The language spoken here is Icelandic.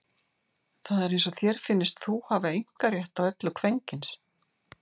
Það er eins og þér finnist þú hafa einkarétt á öllu kvenkyns.